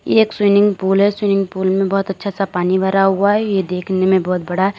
ये एक swimming pool है। स्विनिंग पूल में बहोत अच्छा सा पानी भरा हुआ है। ये देखने में बहोत बड़ा --